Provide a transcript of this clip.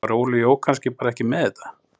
Var Óli Jó kannski bara ekki með þetta?